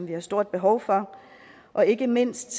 vi har stort behov for og ikke mindst